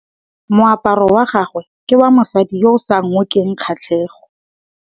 Moaparô wa gagwe ke wa mosadi yo o sa ngôkeng kgatlhegô.